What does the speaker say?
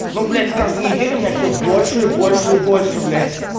ну блятьс каждую неделю меня все больше и больше и больше блядь